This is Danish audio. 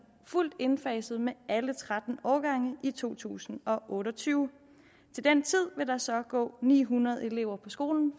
fuldt indfaset med alle tretten årgange i to tusind og otte og tyve til den tid vil der så gå ni hundrede elever på skolen